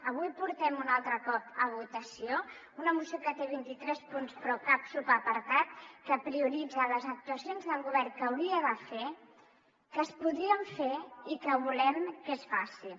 avui portem un altre cop a votació una moció que té vint·i·tres punts però cap subapartat que prioritza les actuacions que el govern hauria de fer que es po·drien fer i que volem que es facin